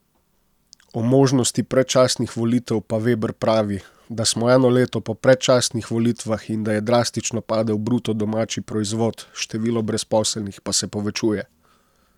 O možnosti predčasnih volitev pa Veber pravi, da smo eno leto po predčasnih volitvah in da je drastično padel bruto domači proizvod, število brezposelnih pa se povečuje.